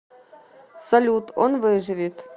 салют он выживет